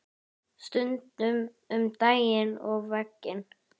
Stundum um daginn og veginn.